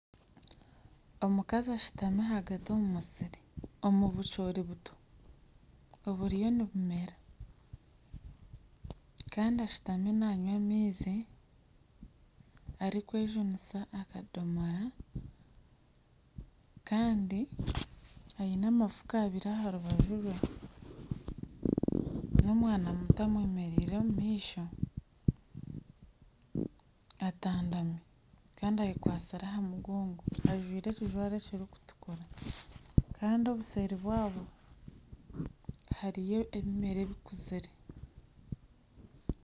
Omukazi ashutami ahagati omumusiri omu bucoori buto buriyo nibumera Kandi ashutami nanywa amaizi arikwejunisa akadomora Kandi aine amafuka abiri aha rubaju rwe n'omwana muto amwemereire omumaisho atandami Kandi ayekwatsire aha mugongo ajwaire ekijwaro ekiri kutukura Kandi obuseeri bwabo hariyo ebimera ebikuzire